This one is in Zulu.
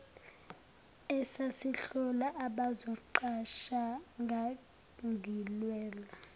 esasihlola abazoqashwa ngangilwela